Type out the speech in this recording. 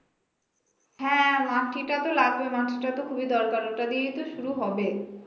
হ্যাঁ মাটিটা তো লাগবে মাটিটা তো খুবই দরকার ওটা দিয়েই তো শুরু হবে